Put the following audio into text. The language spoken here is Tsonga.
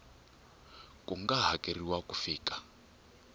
ku nga hakeriwa ku fika